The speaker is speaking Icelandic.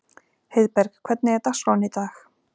Heiðberg, hvernig er dagskráin í dag?